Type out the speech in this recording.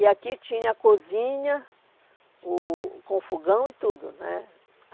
E aqui tinha a cozinha, o com fogão e tudo, né?